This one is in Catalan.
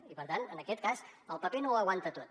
i per tant en aquest cas el paper no ho aguanta tot